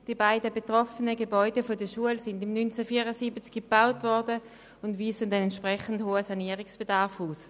Die beiden betroffenen Gebäude der Schule wurden im Jahr 1974 erbaut und weisen einen entsprechend hohen Sanierungsbedarf aus.